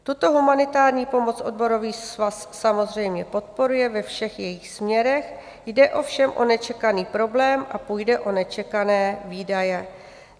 Tuto humanitární pomoc odborový svaz samozřejmě podporuje ve všech jejích směrech, jde ovšem o nečekaný problém a půjde o nečekané výdaje.